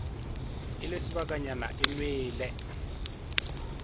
e le sebakanyana e nwele